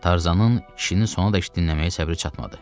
Tarzanın kişinin sonadək dinləməyə səbri çatmadı.